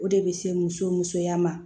O de bɛ se muso musoya ma